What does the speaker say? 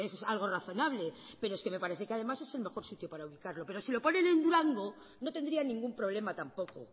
es algo razonable pero es que me parece que además es el mejor sitio para ubicarlo pero si lo ponen en durango no tendría ningún problema tampoco